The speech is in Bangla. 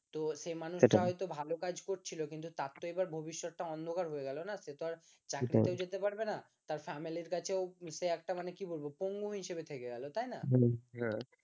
তো সেই মানুষটা হয়তো ভালো কাজ করছিল কিন্তু তার তো এবার ভবিষ্যৎটা অন্ধকার হয়ে গেল না সে তো আর চাকরিতে যেতে পারবে না তার family র কাছেও সে একটা কি বলবো, পঙ্গু হিসেবে থেকে গেল তাই না